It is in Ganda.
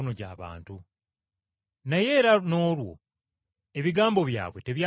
Naye era n’olwo ebigambo byabwe tebyatereera bulungi.